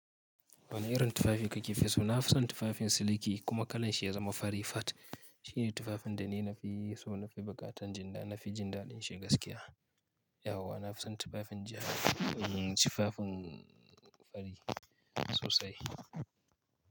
Wane irin tufafi kake fi so? Na fi son tufafin siliki kuma kalan shi ya zama fari fat. Shi ne tufafin da ni na fi so, na fi buƙatan jinda, na fi jinda ɗin shi gaskiya. Yauwa, na fi son tufafin ja, tufafin fari sosai.